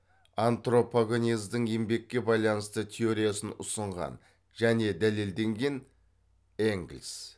антропогенездің еңбекке байланысты теориясын ұсынған және дәлелдеген энгельс